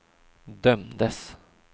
dömdes